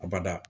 A bada